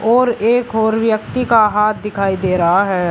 और एक और व्यक्ति का हाथ दिखाई दे रहा है।